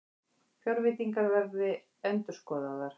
Fjárveitingar verða endurskoðaðar